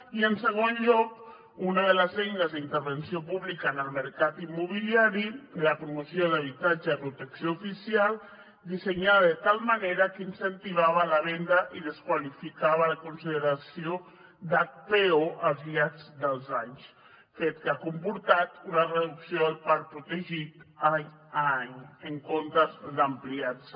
i en segon lloc una de les eines d’intervenció pública en el mercat immobiliari la promoció d’habitatge de protecció oficial dissenyada de tal manera que incentivava la venda i desqualificava la consideració d’hpo al llarg dels anys fet que ha comportat una reducció del parc protegit d’any en any en comptes d’ampliar se